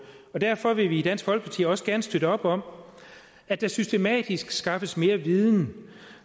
og derfor vil vi i dansk folkeparti også gerne støtte op om at der systematisk skaffes mere viden